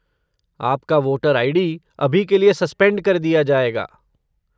आपका voter ID. अभी के लिए सस्पेंड कर दिया जाएगा।